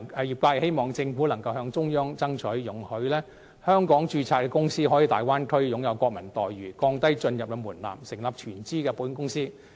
業界希望政府能向中央爭取，容許在香港註冊的公司可以在大灣區擁有國民待遇，降低進入門檻，成立全資保險公司。